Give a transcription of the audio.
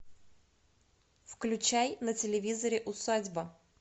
включай на телевизоре усадьба